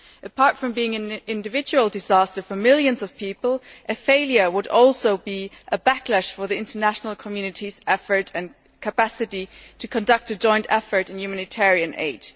Apart from being an individual disaster for millions of people, a failure would also be a backlash for the international community's effort and capacity to conduct a joint effort in humanitarian aid.